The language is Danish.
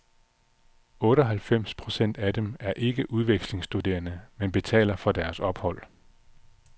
Otteoghalvfems procent af dem er ikke udvekslingsstuderende, men betaler for deres ophold.